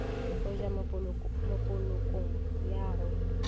go ja mopolokong ya go